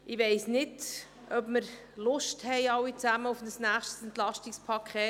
Ich weiss nicht, ob wir Lust auf ein nächstes Entlastungspaket haben.